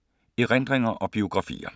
Erindringer og biografier